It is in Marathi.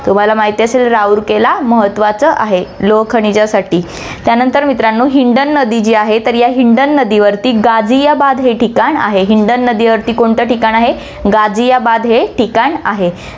तुम्हाला माहिती असेल राउरकेला महत्वाचं आहे लोहखानिजासाठी. त्यानंतर मित्रांनो, हिंडन नदी जी आहे, तर या हिंडन नदीवरती गाझियाबाद हे ठिकाण आहे, हिंडन नदीवरती कोणतं ठिकाण आहे, गाझियाबाद हे ठिकाण आहे.